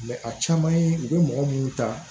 a caman ye u bɛ mɔgɔ minnu ta